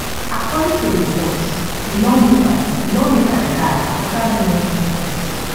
according to reports di lawmaker di lawmaker die afta long sickness